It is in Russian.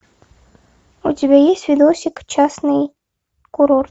у тебя есть видосик частный курорт